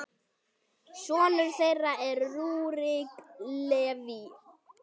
Sonur þeirra er Rúrik Leví.